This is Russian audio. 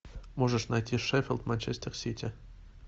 можешь найти шеффилд манчестер сити